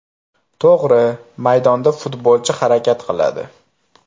To‘g‘ri, maydonda futbolchi harakat qiladi.